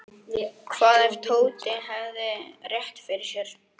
Hvað ef Tóti hefði rétt fyrir sér?